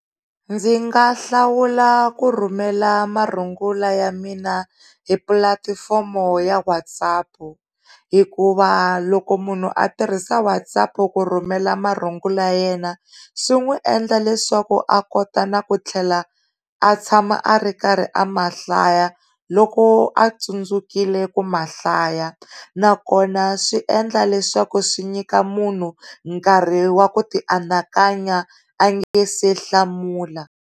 Ndzi nga hlawula ku rhumela marungulo ya mina hi pulatifomo ya WhatsApp hikuva loko munhu a tirhisa WhatsApp ku rhumela marungulo yena swin'wi endla leswaku a kotaku na ku tlhela a tshama a ri karhi a mahlaya loko a tsundzukile ku mahlaya nakona swi endla leswaku swi nyika munhu nkarhi wa ku ti anakanya a nga si hlamula.